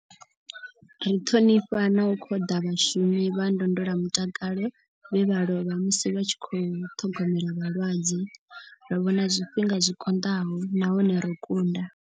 Ri ṱhonifha na u khoḓa vhashumi vha ndondolamutakalo vhe vha lovha musi vha tshi khou ṱhogomela vhalwadze. Ro vhona zwifhinga zwi konḓaho nahone ro kunda.